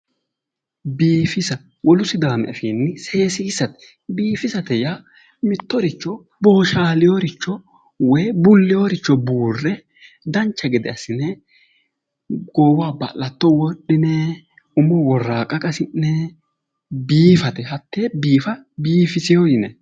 Biifisa wolu sidaami afiinni seesiisate biifisate yaa mittoricho booshaalinoricho woyi bulleyoricho buurre dancha gede assine goowaho ba'latto wodhine umoho worraaqqa qasi'ne biifate hattee biifa biifiseyo yinanni